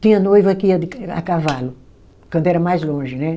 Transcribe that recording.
Tinha noiva que ia de a cavalo, quando era mais longe, né?